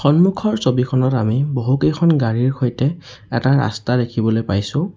সন্মুখৰ ছবিখনত আমি বহুকেইখন গাড়ীৰ সৈতে এটা ৰাস্তা দেখিবলৈ পাইছোঁ।